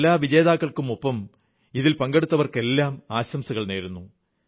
ഞാൻ എല്ലാ വിജയികൾക്കുമൊപ്പം ഇതിൽ പങ്കെടുത്തവർക്കെല്ലാം ആശംസകൾ നേരുന്നു